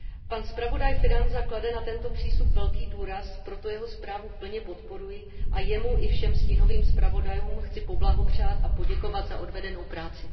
Pan zpravodaj Fidanza klade na tento přístup velký důraz, proto jeho zprávu plně podporuji, a jemu i všem stínovým zpravodajům chci poblahopřát a poděkovat za odvedenou práci.